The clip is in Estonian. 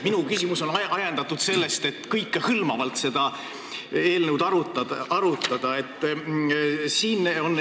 Minu küsimus on ajendatud sellest, et tahaks kõikehõlmavalt seda eelnõu arutada.